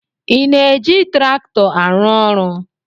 Ị na-eji traktọ arụ ọrụ?